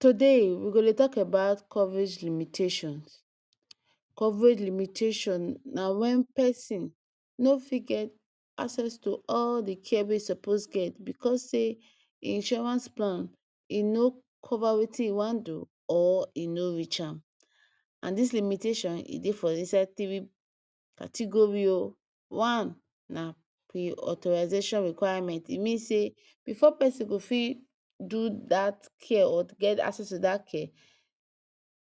Today we go Dey talk abat coverage limitations, coverage limitation na wen person no fit get all the care wey e suppose get because say, insurance plan e no cover Wetin e wan do? or w no reach am and this limitation e Dey for inside tiri categori oo, wan na pre authorization requirement,e mean say before person go fit so that care or get access to that care?,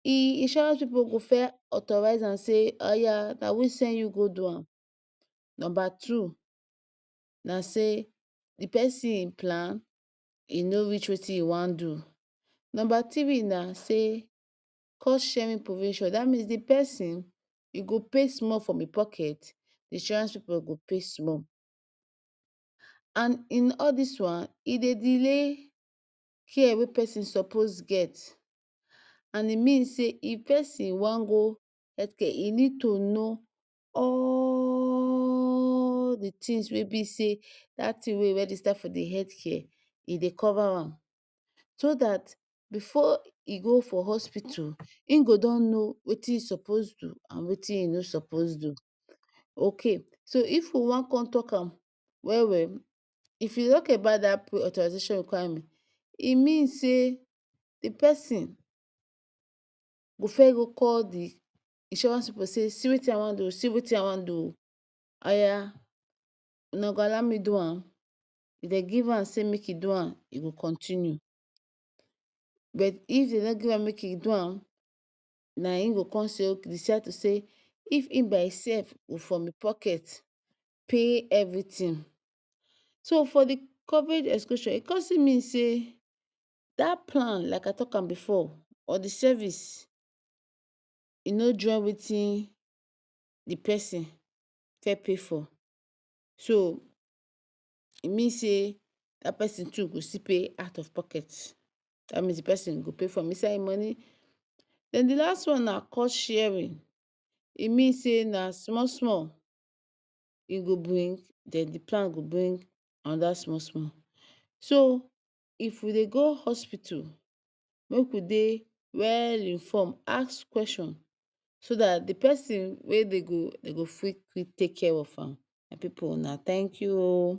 e insurance pipu go fe authorize an say Aya na we send you go do am, number two na say d persin plan? E no reach Wetin e wan do, number tiri na say con share me Mr provision that mean the person e go pay small from in pocket d insurance pipu go pay small and in all dis wan e Dey delay care wey persin suppose get and e mean say if persin wan hetke,e nid to know allllllll the tins wey be say that Tin wen e register for the hetke,e Dey cover am so that before we go for hospitu, in go don know Wetin e suppose do and Wetin e no suppose do, ok so if we wan if we wan con talk am well well? If e lucky abat that pre authorization requiremen e mean say the persin go fes go call the insurance pipu say see Wetin I wan do o see Wetin I wan do o, Aya una go allow me do an? If den give a say make e do an? E go continue, bet If dem no gree an na in go say ok? decide to say if in by in sef go from in pocket pay everytiin so for the coverage exclusion e con still mean say that plan like I talk an before or the service e no join Wetin the persin fes pay for so e mean say that person too go still pay out of pocket ,that mean the persin go pay from inside moni? Then d next one na cour sharing e mean say na small small you go brin then the plan go brin anoda small small, so if we Dey go hospitu make we Dey wellll inform ask question so the persin wey do go, dem go fit take care of an, my pipu una thank you ooo